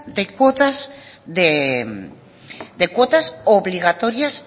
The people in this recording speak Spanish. de cuotas de cuotas obligatorias